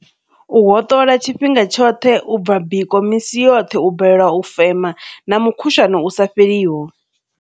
U hoṱola tshifhinga tshoṱhe, u bva biko misi yoṱhe, u balelwa u fema na mukhushwane u sa fheliho.